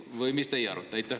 Või mis teie arvate?